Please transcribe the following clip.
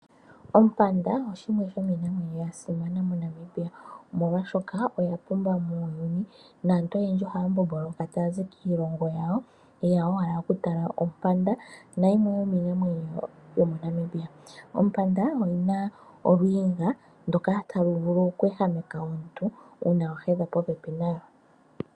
Ompanda oshimwe shomiinamwenyo ya simanamoNamibia molwaashoka oya pumba muyuni naantu oyendji ohaya mbomboloka tayazi kiilongo yawo ta yeya oku tala ompanda nayimwe yomiinamwenyo yomo Namibia. Ompanda oyina oluwinga ndoka taluvulu oku ehameka omuntu uuna wa hedha popepi nayo